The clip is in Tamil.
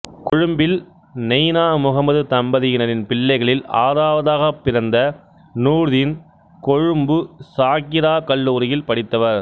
கொழும்பில் நெய்னா முகம்மது தம்பதியினரின் பிள்ளைகளில் ஆறாவதாகப் பிறந்த நூர்தீன் கொழும்பு சாகிரா கல்லூரியில் படித்தவர்